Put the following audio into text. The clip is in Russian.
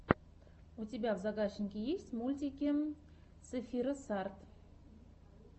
у тебя в загашнике есть мультик сефирос арт